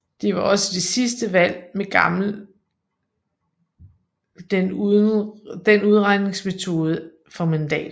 Det var også det sidste valg med gammel den udregningsmetode for mandater